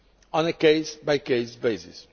on a case by case basis.